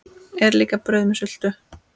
Er líka brauð með sultu?